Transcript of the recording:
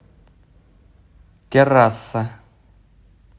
террасса